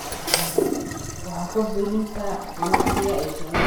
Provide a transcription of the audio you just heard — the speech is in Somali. wax ku biirinta ganacsiga iyo shaqada.